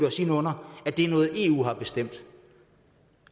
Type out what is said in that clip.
os ind under at det er noget eu har bestemt